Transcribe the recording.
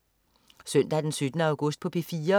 Søndag den 17. august - P4: